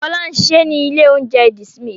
Fọlá ń ṣiṣẹ́ ní ilé-oúnjẹ The Smith.